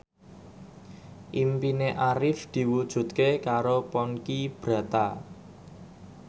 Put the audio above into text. impine Arif diwujudke karo Ponky Brata